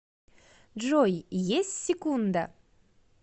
джой есть секунда